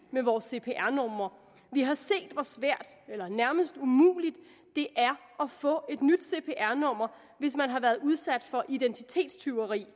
med vores cpr numre vi har set hvor svært eller nærmest umuligt det er at få et nyt cpr nummer hvis man har været udsat for identitetstyveri